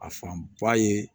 A fan ba ye